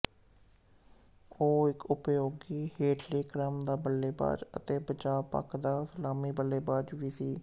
ਉਹ ਇੱਕ ਉਪਯੋਗੀ ਹੇਠਲੇ ਕ੍ਰਮ ਦਾ ਬੱਲੇਬਾਜ਼ ਅਤੇ ਬਚਾਅ ਪੱਖ ਦਾ ਸਲਾਮੀ ਬੱਲੇਬਾਜ਼ ਵੀ ਸੀ